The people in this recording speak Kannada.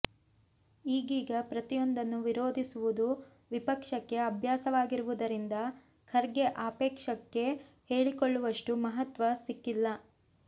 ಈಗೀಗ ಪ್ರತಿಯೊಂದನ್ನು ವಿರೋಧಿಸುವುದು ವಿಪಕ್ಷಕ್ಕೆ ಅಭ್ಯಾಸವಾಗಿರುವುದರಿಂದ ಖರ್ಗೆ ಆಕ್ಷೇಪಕ್ಕೆ ಹೇಳಿಕೊಳ್ಳುವಷ್ಟು ಮಹತ್ವ ಸಿಕ್ಕಿಲ್ಲ